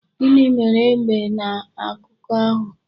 Gịnị mere egbe n'akuko ahu?